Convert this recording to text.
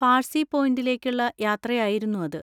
പാർസി പോയിന്‍റിലേക്കുള്ള യാത്രയായിരുന്നു അത്.